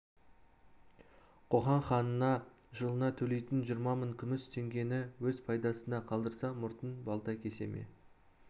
қоқан ханына жылына төлейтін жиырма мың күміс теңгені өз пайдасына қалдырса мұртын балта кесе ме